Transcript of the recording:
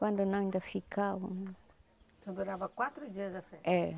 Quando não ainda ficavam... Então durava quatro dias a festa? É